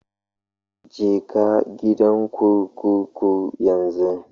Je ka gidan kurkuku yanzu